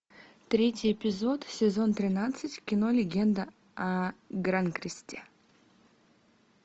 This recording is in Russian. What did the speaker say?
третий эпизод сезон тринадцать кино легенда о гранкресте